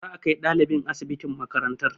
Za a kai ɗalibin asibitin malarantar